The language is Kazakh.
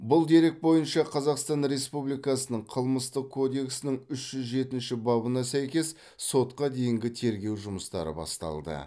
бұл дерек бойынша қазақстан республикасының қылмыстық кодексінің үш жүз жетінші бабына сәйкес сотқа дейінгі тергеу жұмыстары басталды